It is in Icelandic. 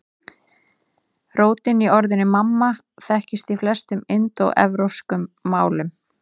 Rótin í orðinu mamma þekkist í flestum indóevrópskum málum.